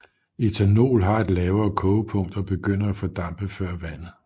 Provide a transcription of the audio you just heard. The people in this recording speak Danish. Ethanol har et lavere kogepunkt og begynder at fordampe før vandet